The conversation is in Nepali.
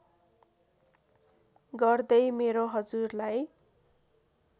गर्दै मेरो हजुरलाई